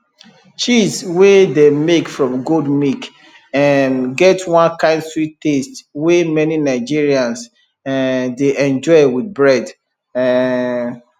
cheese wey dem make from goat milk um get one kind sweet taste wey many nigerians um dey enjoy with bread um